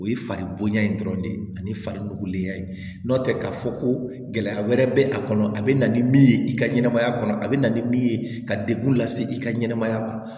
O ye fari bonya in dɔrɔn de ye ani fari nugulenya ye n'o tɛ k'a fɔ ko gɛlɛya wɛrɛ bɛ a kɔnɔ a bɛ na ni min ye i ka ɲɛnɛmaya kɔnɔ a bɛ na ni min ye ka degun lase i ka ɲɛnɛmaya ma